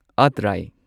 ꯑꯇ꯭ꯔꯥꯢ